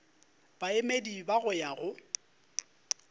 baemedi ba go ya go